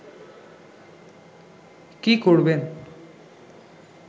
কী করবেন